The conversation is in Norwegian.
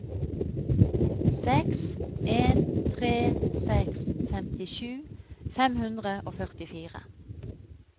seks en tre seks femtisju fem hundre og førtifire